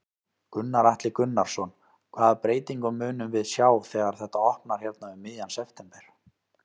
Gunnar Atli Gunnarsson: Hvaða breytingu munum við sjá þegar þetta opnar hérna um miðjan september?